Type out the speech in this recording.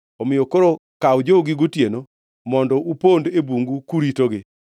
Omiyo koro kaw jogi gotieno mondo upond e bungu kuritogi.